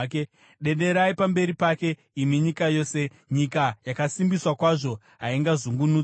Dederai pamberi pake, imi nyika yose! Nyika yakasimbiswa kwazvo; haingazungunuswi.